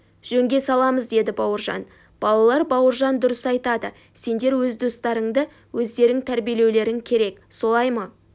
жөнге саламыз деді бауыржан балалар бауыржан дұрыс айтады сендер өз достарыңды өздерің тәрбиелеулерің керек солай ма